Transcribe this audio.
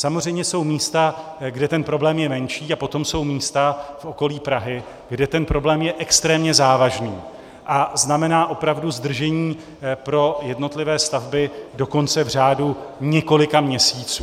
Samozřejmě jsou místa, kde ten problém je menší, a potom jsou místa v okolí Prahy, kde ten problém je extrémně závažný a znamená opravdu zdržení pro jednotlivé stavby dokonce v řádu několika měsíců.